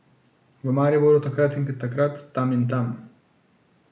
V Mariboru, takrat in takrat, tam in tam ...